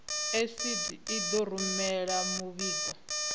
icd i ḓo rumela muvhigo